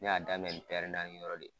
N y'a daminɛ ni naani dɔrɔn de yen.